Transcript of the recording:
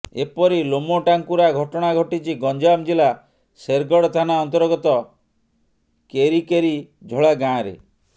ଏପରି ଲୋମଟାଙ୍କୁରା ଘଟଣା ଘଟିଛି ଗଞ୍ଜାମ ଜିଲ୍ଲା ଶେରଗଡ଼ ଥାନା ଅନ୍ତର୍ଗତ କେରିକେରିଝୋଳା ଗାଁରେ